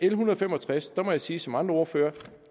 en hundrede og fem og tres må jeg sige som andre ordførere at